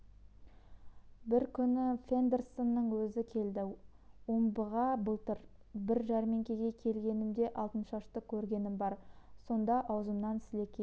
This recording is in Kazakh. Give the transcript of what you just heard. бір күні фондерсонның өзі келді омбыға былтыр бір жәрмеңкеге келгенімде алтыншашты көргенім бар сонда аузымнан сілекейім